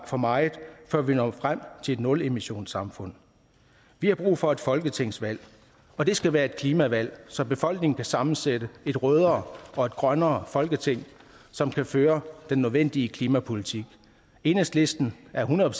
for meget før vi når frem til et nulemissionssamfund vi har brug for et folketingsvalg og det skal være et klimavalg så befolkningen kan sammensætte et rødere og grønnere folketing som kan føre den nødvendige klimapolitik enhedslisten er hundrede